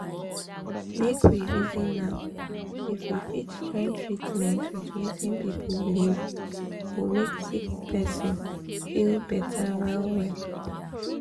make we reason am — if we fit join the treatment with wetin people believe go make sick person feel better well well.